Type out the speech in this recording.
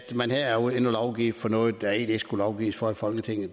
man her er inde at lovgive for noget der egentlig ikke skulle lovgives for i folketinget